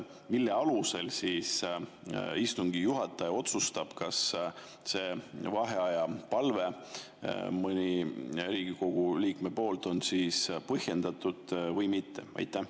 Mille alusel istungi juhataja otsustab, kas Riigikogu liikme vaheaja palve on põhjendatud või mitte?